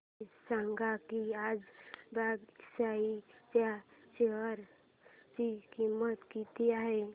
हे सांगा की आज बीएसई च्या शेअर ची किंमत किती आहे